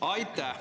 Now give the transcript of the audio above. Aitäh!